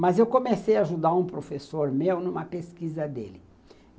Mas eu comecei a ajudar um professor meu numa pesquisa dele.